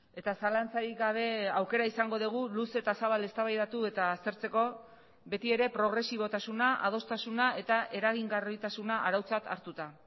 eta zalantzarik gabe aukera izango dugu luze eta zabal eztabaidatu eta aztertzeko beti ere progresibotasuna adostasuna eta eragingarritasuna arautzat hartuta